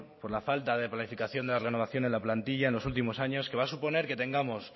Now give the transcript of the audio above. por la falta de planificación de la renovación en la plantilla en los últimos años que va a suponer que tengamos